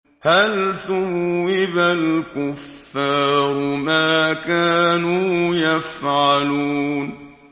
هَلْ ثُوِّبَ الْكُفَّارُ مَا كَانُوا يَفْعَلُونَ